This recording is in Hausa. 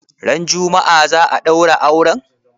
Ran juma'a za'a ɗaura auren?